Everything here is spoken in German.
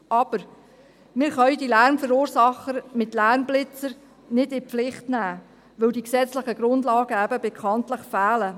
Aber wir können die Lärmverursacher mit Lärmblitzern nicht in die Pflicht nehmen, weil die gesetzlichen Grundlagen bekanntlich fehlen.